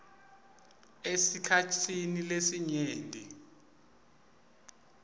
esikhatsini lesinyenti